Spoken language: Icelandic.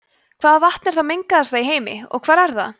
hvaða vatn er það mengaðasta í heimi og hvar er það